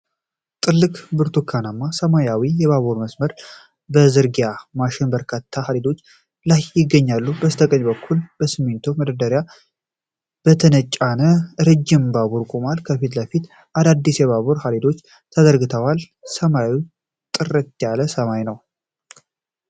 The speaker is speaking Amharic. ትልቅ ብርቱካናማና ሰማያዊ የባቡር መስመር መዘርጊያ ማሽን በበርካታ ሀዲዶች ላይ ይገኛል። በስተቀኝ በኩል በሲሚንቶ መደገፊያዎች የተጫነ ረጅም ባቡር ቆሟል። ከፊት ለፊት አዳዲስ የባቡር ሀዲዶች ተዘርግተዋል። ሰማዩ ጥርት ያለ ሰማያዊ ነው።